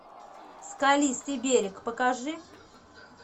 скалистый берег покажи